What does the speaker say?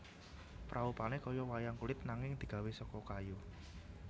Praupane kaya wayang kulit nanging digawé seka kayu